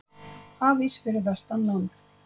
Hafís fyrir vestan land